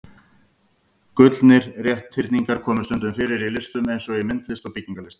Gullnir rétthyrningar koma stundum fyrir í listum eins og í myndlist og byggingarlist.